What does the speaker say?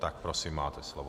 Tak prosím, máte slovo.